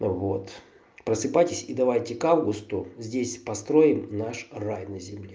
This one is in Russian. вот просыпайтесь и давайте-ка кусто здесь построим наш рай на земле